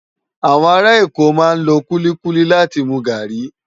Awòn àrá Èkó má n ló kúlikúli láti mú gári